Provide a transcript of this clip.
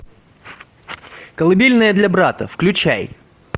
колыбельная для брата включай